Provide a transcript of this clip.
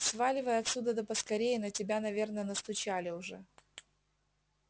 сваливай отсюда да поскорее на тебя наверное настучали уже